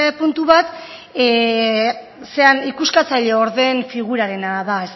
puntu bat ikuskatzaileordeen figurarena da